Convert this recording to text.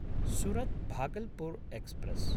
सुरत्–भागल्पुर् express